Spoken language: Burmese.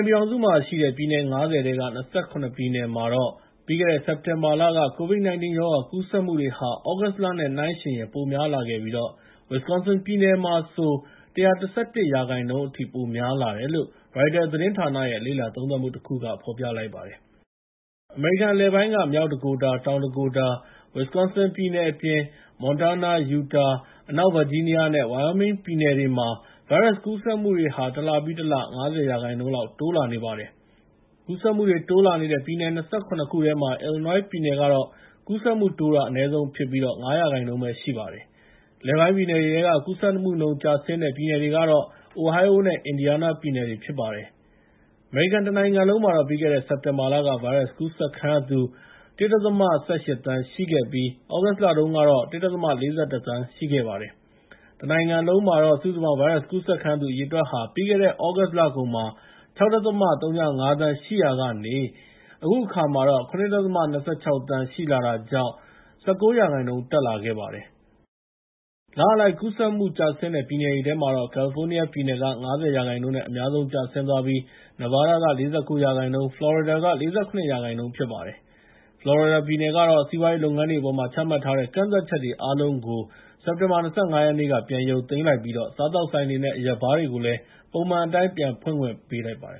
န်ပြည်ထောင်စုမှာ ရှိတဲ့ ပြည်နယ် ၅၀ ထဲက ၂၇ ပြည်နယ်မှာ ပြီးခဲ့တဲ့ စက်တင်ဘာလက ကိုဗစ် ၁၉ ရောဂါ ကူးစက်မှုတွေဟာ သြဂုတ်လနဲ့နှိုင်းယှဉ်ရင် ပိုများလာခဲ့ပြီး၊ Wisconsin ပြည်နယ်မှာဆို ၁၁၁ ရာခိုင်နှုန်း အထိ ပိုများလာတယ်လို့ ရိုက်တာသတင်းဌာနရဲ့ လေ့လာသုံးသပ်မှုတခုက ဖော်ပြလိုက်ပါတယ်။ အမေရိကန်အလယ်ပိုင်းက North Dakota, South Dakota နဲ့ Wisconsin ပြည်နယ်တွေအပြင် Montana, Utah, West Virginia နဲ့ Wyoming ပြည်နယ်တွေမှာ ဗိုင်းရပ်စ်ကူးစက်မှုတွေဟာ တလပြီးတလ ၅၀ ရာခိုင်နှုန်း လောက်တိုးလာနေပါတယ်။ ကူးစက်မှုတွေ တိုးလာနေတဲ့ ပြည်နယ် ၂၇ ခုထဲမှာ Illinois ပြည်နယ်ကတော့ ကူးစက်မှုတိုးတာ အနည်းဆုံးဖြစ်ပြီး ၅ ရာခိုင်နှုန်းပဲရှိပါတယ်။ အလယ်ပိုင်းပြည်နယ်တွေထဲက ကူးစက်မှုနှုန်းကျဆင်းတဲ့ ပြည်နယ်တွေကတော့ Ohio နဲ့ Indiana ပြည်နယ်တွေဖြစ်ပါတယ်။ အမေရိကန်တနိုင်ငံလုံးမှာတော့ ပြီးခဲ့တဲ့ စက်တင်ဘာလက ဗိုင်းရပ်စ်ကူးစက်ခံရသူ ၁.၁၈ သန်း ရှိခဲ့ပြီး၊ သြဂုတ်လတုန်းကတော့ ၁.၄၁ သန်းရှိခဲ့ပါတယ်။ တနိုင်ငံလုံးမှာ စုစုပေါင်းဗိုင်းရပ်စ်ကူးစက်ခံရသူအရေအတွက်ဟာ ပြီးခဲ့တဲ့ သြဂုတ်လကုန်မှာ ၆.၀၅ သန်းရှိရာကနေ အခုအခါမှာတော့ ၇.၂၆ သန်းရှိလာတာကြောင့် ၁၉ ရာခိုင်နှုန်း တက်လာခဲ့ပါတယ်။ လအလိုက် ကူးစက်မှုကျဆင်းတဲ့ ပြည်နယ်တွေထဲမှာတော့ ကယ်လီဖိုးနီးယားပြည်နယ်က ၅၀ ရာခိုင်နှုန်းနဲ့ အများဆုံးကျဆင်းသွားပြီး Neveada က ၄၉ ရာခိုင်နှုန်း၊ ဖလော်ရီဒါက ၄၇ ရာခိုင်နှုန်း ဖြစ်ပါတယ်။ ဖလော်ရီဒါပြည်နယ်ကတော့ စီးပွားရေးလုပ်ငန်းတွေအပေါ်မှာ ချမှတ်ထားတဲ့ ကန့်သတ်ချက်တွေ အားလုံးကို စက်တင်ဘာ ၂၅ ရက်နေ့က ပြန်ရုတ်သိမ်းလိုက်ပြီးတော့ စားသောက်ဆိုင်တွေနဲ့ အရက်ဘားတွေကို ပုံမှန်အတိုင်း ပြန်ဖွင့်ခွင့်ပြုလိုက်ပါတယ